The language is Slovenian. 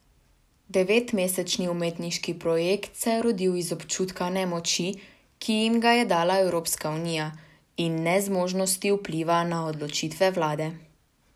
Devetmesečni umetniški projekt se je rodil iz občutka nemoči, ki jim ga je dala Evropska unija, in nezmožnosti vpliva na odločitve vlade.